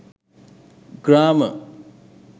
grama